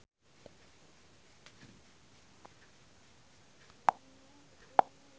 Awakna teu boga silia.